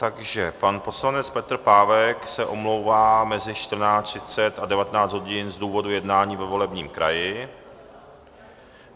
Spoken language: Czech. Takže pan poslanec Petr Pávek se omlouvá mezi 14.30 a 19 hodin z důvodu jednání ve volebním kraji.